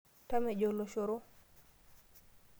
Tamejo oloshoro.